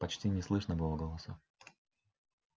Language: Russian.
почти не слышно было голосов